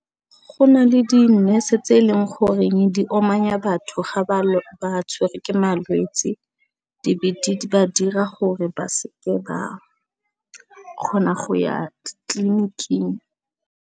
Go na le di nurse tse e leng goreng di amanya batho ga ba tshwerwe ke malwetsi di be di ba dira gore ba se ke ba kgona go ya tleliniking.